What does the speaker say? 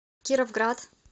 кировград